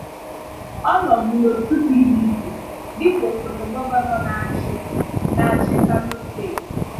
Ọ nọ̀bù n’òtù PDP dịka osòtè gọvanọ na-achị na-achị Kano Steeti.